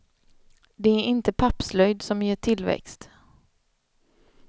Det är inte pappslöjd som ger tillväxt.